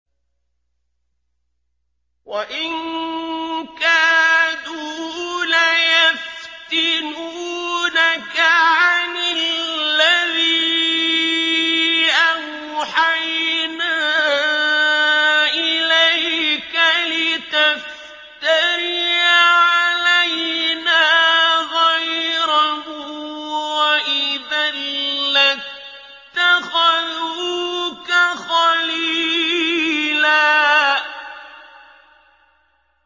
وَإِن كَادُوا لَيَفْتِنُونَكَ عَنِ الَّذِي أَوْحَيْنَا إِلَيْكَ لِتَفْتَرِيَ عَلَيْنَا غَيْرَهُ ۖ وَإِذًا لَّاتَّخَذُوكَ خَلِيلًا